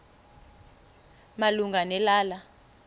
malunga ne lala